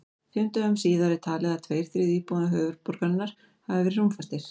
Fimm dögum síðar er talið að tveir þriðju íbúa höfuðborgarinnar hafi verið rúmfastir.